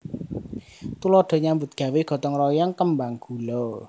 Tuladha nyambut gawé gotong royong kembang gula